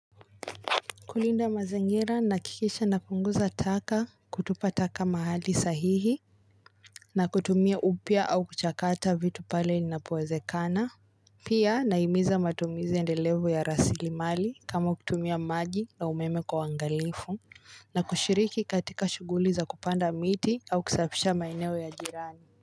Kulinda mazingira nahikikisha na kupunguza taka kutupa taka mahali sahihi. Na kutumia upya au kuchakata vitu pale ninapoeze kana. Pia nahimiza matumiza endelevo ya rasili mali kama kutumia maji na umeme kwa uwangalifu. Na kushiriki katika shughuli za kupanda miti au kisafafisha maeneo ya jirani.